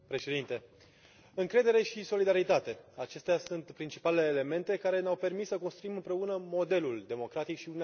Încredere și solidaritate acestea sunt principalele elemente care ne au permis să construim împreună modelul democratic și Uniunea Europeană de astăzi.